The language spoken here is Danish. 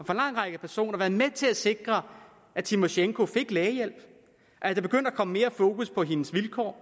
personer været med til at sikre at tymosjenko fik lægehjælp at der begyndte at komme mere fokus på hendes vilkår